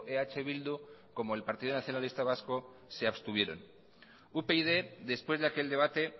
eh bildu como el partido nacionalista vasco se abstuvieron upyd después de aquel debate